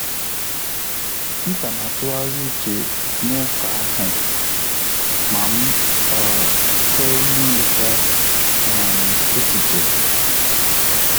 M ka na-atughari uche na-uka ahụ ma m um chọrọ inweta um echiche